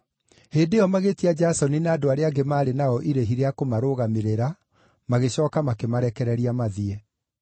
Hĩndĩ ĩyo magĩĩtia Jasoni na andũ arĩa angĩ maarĩ nao irĩhi rĩa kũmarũgamĩrĩra, magĩcooka makĩmarekereria mathiĩ.